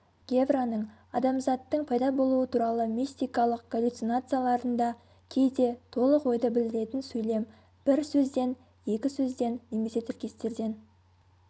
гевраның адамзаттың пайда болуы туралы мистикалық галлюцинацияларында кейде толық ойды білдіретін сөйлем бір сөзден екі сөзден немесе тіркестерден